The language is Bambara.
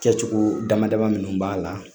Kɛcogo damada minnu b'a la